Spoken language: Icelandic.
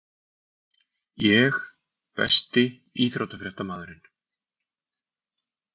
Ég Besti íþróttafréttamaðurinn?